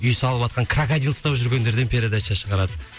үй салыватқан крокодил ұстап жүргендерден передача шығарады